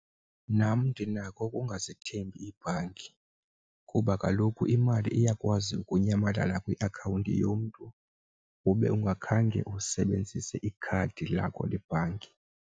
Nam ndinako ukungazithembi iibhanki kuba kaloku imali iyakwazi ukunyamalala kwiakhawunti yomntu ube ungakhange usebenzise ikhadi lakho le bhanki.